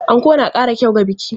Anko na ƙara kyau ga biki.